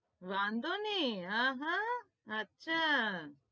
વાધો નહિ અ હ અચ્છા